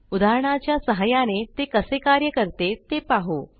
उदाहरणाच्या सहाय्याने ते कसे कार्य करते ते पाहू